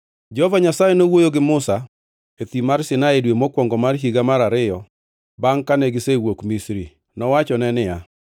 Jehova Nyasaye nowuoyo gi Musa e Thim mar Sinai e dwe mokwongo mar higa mar ariyo bangʼ kane gisewuok Misri. Nowachone niya,